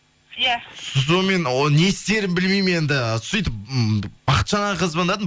иә сонымен не істерімді білмеймін енді сөйтіп бахытжан ағаға звондадым